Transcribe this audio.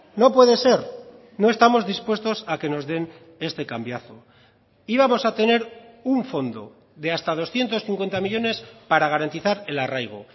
no puede ser no estamos dispuestos a que nos den este cambiazo íbamos a tener un fondo de hasta doscientos cincuenta millónes para garantizar el arraigo